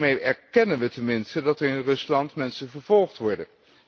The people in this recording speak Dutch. Daarmee erkennen we tenminste dat er in Rusland mensen vervolgd worden.